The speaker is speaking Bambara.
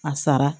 A sara